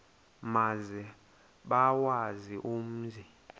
maze bawazi umzi